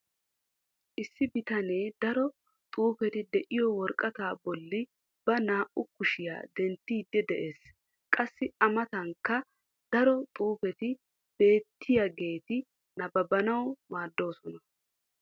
issi bitanee daro xuufeti diyo woraqataa bolli ba naa''u kushshiya denttidi des. qassi a matankka daro xuufetti beetiyageeti nabbabanawu maadoososna.